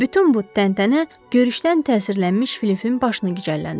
Bütün bu təntənə görüşdən təsirlənmiş Filifin başını gicəlləndirdi.